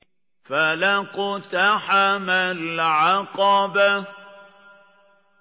فَلَا اقْتَحَمَ الْعَقَبَةَ